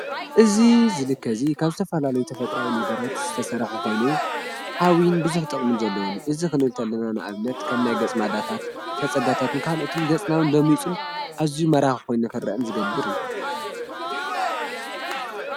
እዝ ዝልከ እዙይ ካብ ተተፍላሉ ተፈጥራዊ ነገራት ዝተሠራሐ ኾኑ ኃዊን ብዙኅ ጠቕሚን ዘለዉኒ እዝ ኽነ ተልናን ኣብነት ከም ናይ ገጽ ማዳታት ፈጸጋታትን ካህልኦትን ገጽናዊን ሎሚጹን እዙይ መራኽ ኾይነኽርአን ዝገብር እዩ።